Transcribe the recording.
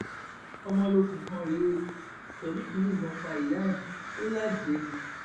ọmọlókun kan rèé ó sadiq yìnbọn pa ìyá ẹ ò lájẹẹ ni